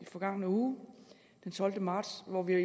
forgangne uge den tolvte marts hvor vi